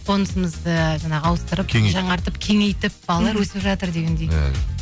қонысымызды жаңағы ауыстырып жаңартып кеңейтіп балалар өсіп жатыр дегендей иә